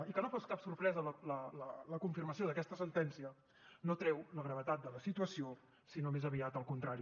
i que no fos cap sorpresa la confirmació d’aquesta sentència no treu la gravetat de la situació sinó més aviat al contrari